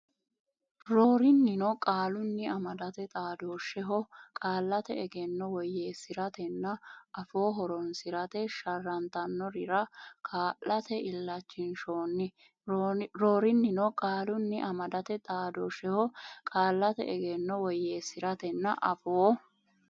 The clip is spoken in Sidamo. Roorinnino qaalunnni amadate xaadoshsheho qaallate egenno woyyeesi ratenna afoo horonsi rate sharrantannorira kaa late illachinshoonni Roorinnino qaalunnni amadate xaadoshsheho qaallate egenno woyyeesi ratenna afoo.